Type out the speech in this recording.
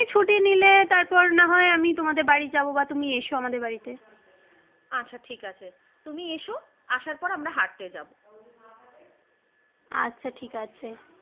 তারপর না হয় আমি তোমাদের বাড়ি যাবো বা তুমি এসো আমাদের বাড়িতে। আচ্ছা ঠিক আছে তুমি এসো আসার পর আমরা হাঁটতে যাবো আচ্ছা ঠিক আছে।